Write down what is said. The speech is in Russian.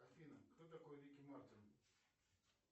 афина кто такой рикки мартин